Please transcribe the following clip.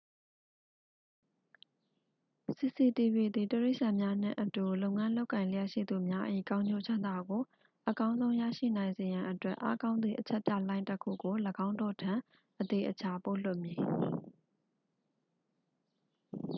"""စီစီတီဗွီ cctv သည် တိရိစ္ဆာန်များနှင့်အတူ လုပ်ငန်း လုပ်ကိုင်လျက်ရှိသူများ၏ ကောင်းကျိုးချမ်းသာကို အကောင်းဆုံး ရရှိနိုင်စေရန်အတွက် အားကောင်းသည့် အချက်ပြလှိုင်းတစ်ခုကို ၄င်းတို့ထံ အသေအချာ ပို့လွှတ်မည်""